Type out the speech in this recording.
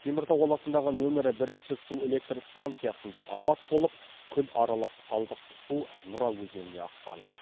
теміртау қаласындағы нөмірі бірінші су электростанциясында апат болып күл аралас қалдық су нұра өзеніне аққан